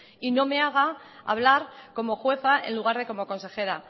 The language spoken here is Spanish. y no me haga hablar como jueza en lugar de como consejera